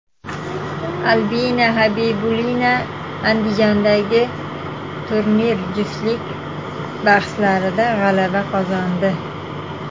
Albina Xabibulina Andijondagi turnir juftlik bahslarida g‘alaba qozondi.